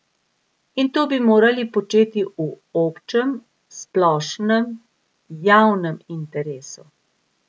In to bi morali početi v občem, splošnem, javnem interesu.